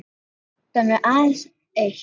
Nú vantar mig aðeins eitt!